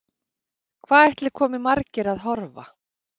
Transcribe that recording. Hvað ætli komi margir að horfa?